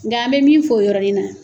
Nga an bɛ min fɔ o yɔrɔnin na,